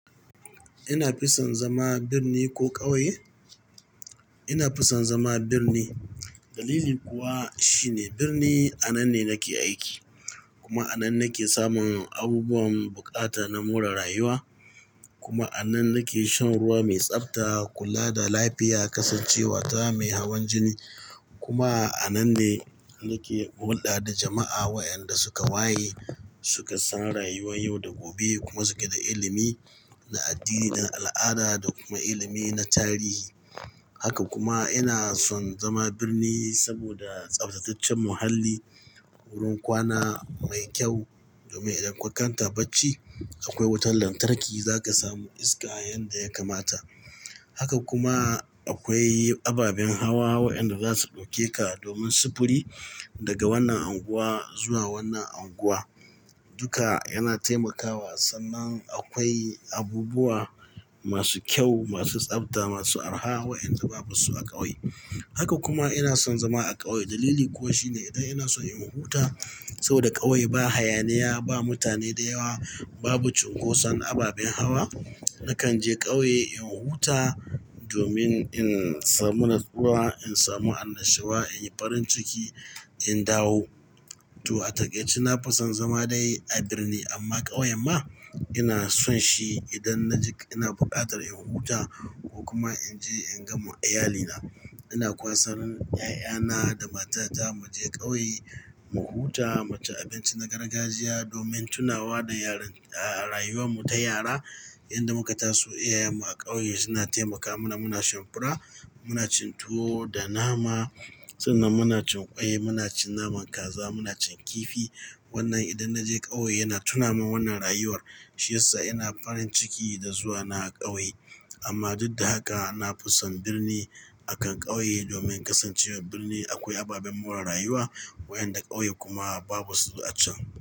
Ina fison zama birni ko ƙauye? Ina fison zama birni. Dalili kuwa shine dirni a nan ne nake aiki kuma a nan nake samun abubuwan buƙata na more rayuwa. Kuma a nan nake shan ruwa mai tsabta, kula da lafiya, kasancewa ta mai hawan jini. Kuma a nan ne nake hulɗa da jama'a waƴanda suka waye, suka san rayuwan yau da gobe, kuma suke da ilimi na addini, al'ada da kuma ilimi na tarihi. Haka kuma ina son zama birni, saboda tsaftataccen muhalli, wurin kwana mai kyau domin idan kun kanta bacci akwai wutan lantarki, za ka samu iska yanda ya kamata. Haka kuma akwai ababen hawa waƴanda za su ɗauke ka domin sufuri, daga wannan anguwa, zuwa wannan anguwa. Duka yana taimakawa sannan akwai abubuwa masu kyau, masu tsafta, masu araha waƴanda babu su a ƙauye. Haka kuma ina son zama a ƙauye. Dalili kuwa shine idan ina so in huta, saboda ƙauye ba hayaniya, ba mutane da yawa, babu cunkoson ababen hawa. Nakan je ƙauye in huta, domin in samu natsuwa, in samu annashuwa, in yi farin ciki, in dawo. To a taƙaice na fison zama dai a birni, amma ƙauyen ma, ina son shi idan na ji ina buƙatar in huta ko kuma in je in ga ma iyalina. Ina kwasar ƴaƴana, da matata mu je ƙauye, mu huta, mu ci abinci na gargajiya domin tunawa da yaran, a-a rayuwan mu ta yara. Yanda muka taso iyayen mu a ƙauye suna taimaka mana muna shan fura, muna cin tuwo da nama sannan muna cin ƙwai, muna cin naman kaza, muna cin kifi. Wnnan idan naje ƙauye yana tunamin wnnan rayuwar shi yasa ina farin ciki da zuwa na ƙauye. Amma duk da haka na fison birni akan ƙauye domin kasancewar birni akwai ababen more rayuwa waƴanda ƙauye kuma babu su a can.